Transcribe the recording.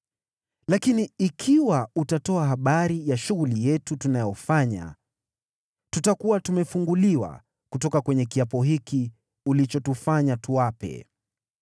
Lakini ikiwa utatoa habari ya shughuli yetu tunayofanya, tutakuwa tumefunguliwa kutoka kwenye kiapo hiki ulichotufanya tuape.”